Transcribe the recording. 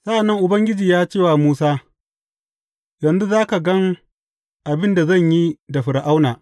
Sa’an nan Ubangiji ya ce wa Musa, Yanzu za ka gan abin da zan yi da Fir’auna.